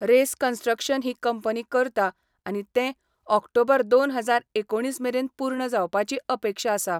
Race construction ही company करता आनी ते ऑक्टोबर दोन हजार एकोणीस मेरेन पूर्ण जावपाची अपेक्षा आसा.